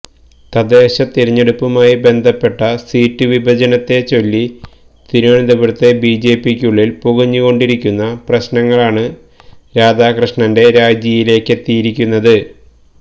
തദ്ദേശതിരഞ്ഞെടുപ്പുമായി ബന്ധപ്പെട്ട സീറ്റ് വിഭജനത്തെച്ചൊല്ലി തിരുവനന്തപുരത്തെ ബിജെപിയ്ക്കുള്ളില് പുകഞ്ഞുകൊണ്ടിരിക്കുന്ന പ്രശ്നങ്ങളാണ് രാധാകൃഷ്ണന്റെ രാജിയിലേക്കെത്തിയിരിക്കുന്നത്